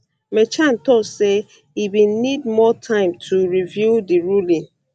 merchan tok say e bin need more time to review di ruling